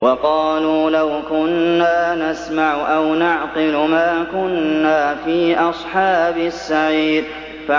وَقَالُوا لَوْ كُنَّا نَسْمَعُ أَوْ نَعْقِلُ مَا كُنَّا فِي أَصْحَابِ السَّعِيرِ